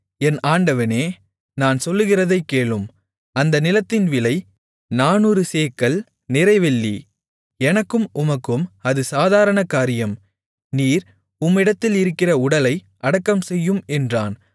என் ஆண்டவனே நான் சொல்லுகிறதைக் கேளும் அந்த நிலத்தின் விலை நானூறு சேக்கல் நிறை வெள்ளி எனக்கும் உமக்கும் அது சாதாரண காரியம் நீர் உம்மிடத்திலிருக்கிற உடலை அடக்கம் செய்யும் என்றான்